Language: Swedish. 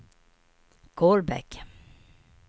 Kolbäck